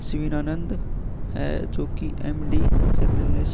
शिवनानन्द है जो की एम.डी. जर्नलिस्ट --